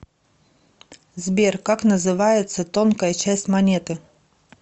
сбер как называется тонкая часть монеты